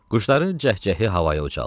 Quşların cəhcəhi havaya ucaldı.